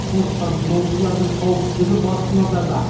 сондықтан демалушылардың қауіпсіздігі басты назарда